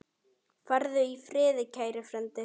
Farðu í friði, kæri frændi.